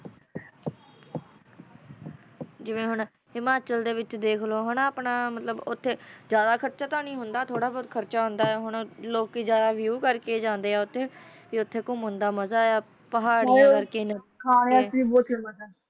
ਨਾਟਕ ਦੇ ਵਿਰੌਧ ਆਪਣਾ ਅੰਮ੍ਰਿਤਧਾਰੀ ਬੰਦਾ ਘਬਰਾਹਟ ਖਾਂਦਾ ਹੈ ਉਸ ਦਾ ਘਿਰਾਓ ਕਰਕੇ ਜਾਣਿਆ ਜਾਂਦਾ ਹੈ